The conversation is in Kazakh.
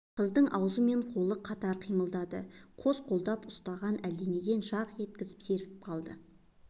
қыздың аузы мен қолы қатар қимылдады қос қолдап ұстаған әлденеден жарқ еткізіп серпіп қалды